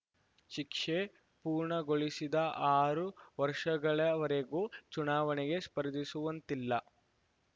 ಶಿಕ್ಷೆ ಪೂರ್ಣಗೊಳಿಸಿದ ಆರು ವರ್ಷಗಳವರೆಗೂ ಚುನಾವಣೆಗೆ ಸ್ಪರ್ಧಿಸುವಂತಿಲ್ಲ